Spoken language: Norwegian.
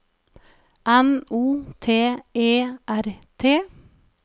N O T E R T